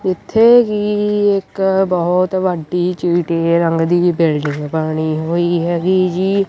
ਇੱਥੇ ਹੀ ਇੱਕ ਬਹੁਤ ਵੱਡੀ ਚਿੱਟੇ ਰੰਗ ਦੀ ਬਿਲਡਿੰਗ ਬਣੀ ਹੋਈ ਹੈਗੀ ਜੀ।